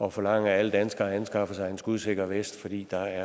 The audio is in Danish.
at forlange at alle danskere anskaffer sig en skudsikker vest fordi der